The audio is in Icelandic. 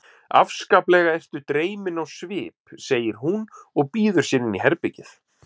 Afskaplega ertu dreyminn á svip, segir hún og býður sér inn í herbergið.